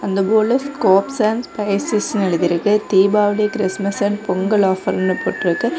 அந்த போர்டுல scoops and ஸ்பைசஸ்னு எழுதி இருக்கு தீபாவளி கிறிஸ்மஸ் அண்ட் பொங்கல் ஆஃபர்ன்னு போட்டிருக்கு.